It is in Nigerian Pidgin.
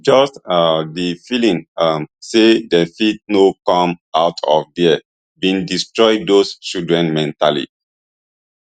just um di feeling um say dey fit no come out of there bin destroy those children mentally